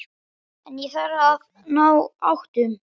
En ég þarf að ná áttum.